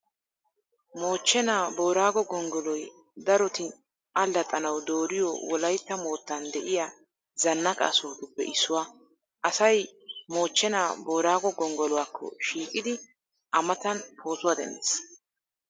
Mochchenaa booraago gonggoloy daroti allaxxanawu dooriyo, Wolaytta moottan de'iya zannaqa sohotuppe issuwaa. Asay mochchenaa booraago gonggoluwaakko shiiqidi a matan pootuwaa denddees.